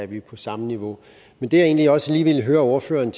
vi på samme niveau men det jeg egentlig også lige ville høre ordføreren